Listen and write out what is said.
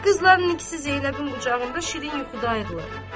Qızların ikisi Zeynəbin qucağında şirin yuxuda ayırırlar.